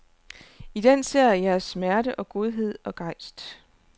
I den ser jeg jeres smerte og godhed og gejst.